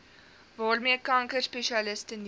waarmee kankerspesialiste nuwe